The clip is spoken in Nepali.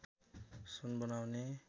सुन बनाउने